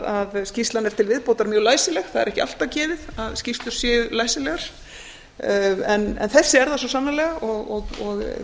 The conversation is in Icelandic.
að skýrslan er til viðbótar mjög læsileg það er ekki alltaf gefið að skýrslur séu læsilegar en þessi er það svo sannarlega og